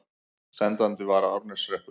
Sendandi var Árneshreppur.